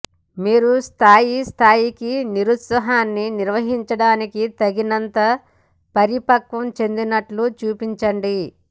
మీరు స్థాయి స్థాయికి నిరుత్సాహాన్ని నిర్వహించడానికి తగినంతగా పరిపక్వం చెందినట్లు చూపించండి